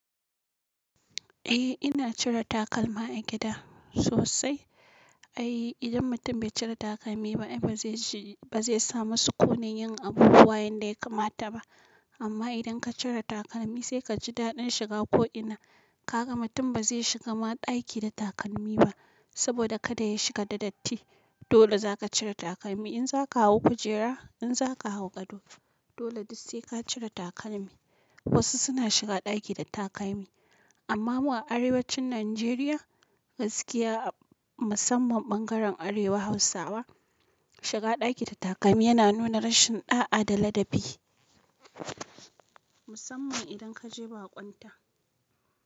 Eh ina cire takalma a gida sosai. Ai idan mutum bai cire takalmi ba, ai ba zai ji, ba zai samu sukuni yin abubuwan yadda ya kamata ba. Amma idan ka cire takalmi sai ka ji daɗin shiga ko ina. Kaga mutum ba zai shiga ma ɗaki da takalmi ba saboda kada ya shiga da datti. Dole zaka cire takalmi in zaka hau kujera, in zaka hau gado. Dole duk sai ka cire takalmi. Wasu suna shiga ɗaki da takalmi, amma mu a arewacin Najeriya, gaskiya musamman ɓangaren arewa hausawa, shiga ɗaki da takalmi yana nuna rashin ɗa'a da ladabi. Musamman idan kaje baƙunta.